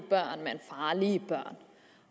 børn men farlige børn